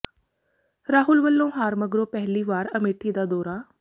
ਰਾਹੁਲ ਵੱਲੋਂ ਹਾਰ ਮਗਰੋਂ ਪਹਿਲੀ ਵਾਰ ਅਮੇਠੀ ਦਾ ਦੌਰਾ